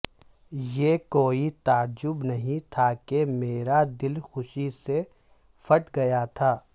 یہ کوئی تعجب نہیں تھا کہ میرا دل خوشی سے پھٹ گیا تھا